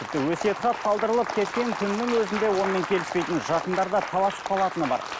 тіпті өсиет хат қалдырылып кеткен күннің өзінде онымен келіспейтін жақындар да таласып қалатыны бар